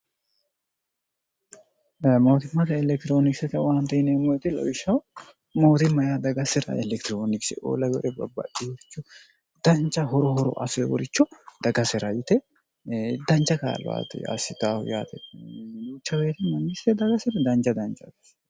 mootimmata elektiroonikisate waan nemmoi lowishshah mooti mayaa dagasira elektiroonikise ola gore babbadhihorichu danca horo horo aseeworichu dagasira yite danja kaaluwati yassitahu yaatecwrmnyite dagasira danja danjate